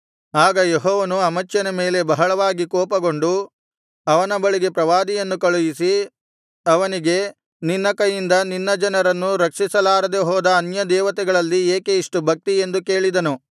ಆಗ ಯೆಹೋವನು ಅಮಚ್ಯನ ಮೇಲೆ ಬಹಳವಾಗಿ ಕೋಪಗೊಂಡು ಅವನ ಬಳಿಗೆ ಪ್ರವಾದಿಯನ್ನು ಕಳುಹಿಸಿ ಅವನಿಗೆ ನಿನ್ನ ಕೈಯಿಂದ ನಿನ್ನ ಜನರನ್ನು ರಕ್ಷಿಸಲಾರದೆ ಹೋದ ಅನ್ಯದೇವತೆಗಳಲ್ಲಿ ಏಕೆ ಇಷ್ಟು ಭಕ್ತಿ ಎಂದು ಕೇಳಿದನು